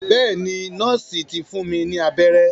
Bẹ́ẹ̀ ni, nọ́ọ̀sì ti fún mi ní abẹ́rẹ́.